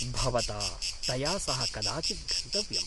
भवता तया सह कदाचित् गन्तव्यम्।